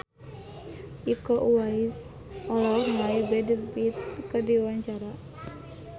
Iko Uwais olohok ningali Brad Pitt keur diwawancara